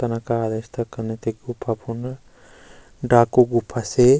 तन कार रस्ता कन थी गुफा फुण्ड डाकू गुफा से --